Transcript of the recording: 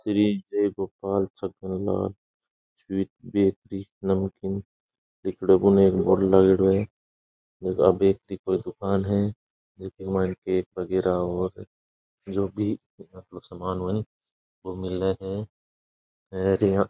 Shri Jai Gopal Chhaganlal sweets bakery namkeen लिखेड़ो एक board लगेडो है यह एक व्यक्ति को दुकान है जिसमे केक वगेरा और जोभी समान हो ओ मिले है और यहाँ --